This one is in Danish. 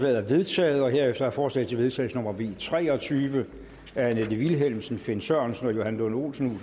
er vedtaget herefter er forslag til vedtagelse nummer v tre og tyve af annette vilhelmsen finn sørensen johan lund olsen og